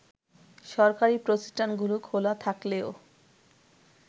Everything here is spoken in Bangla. সরকারি প্রতিষ্ঠানগুলো খোলা থাকলেও